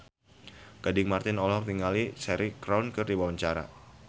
Gading Marten olohok ningali Cheryl Crow keur diwawancara